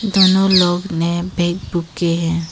दोनों लोग ने बैग बूके हैं।